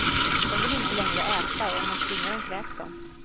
De vill inte längre äta och om man tvingar dem kräks de.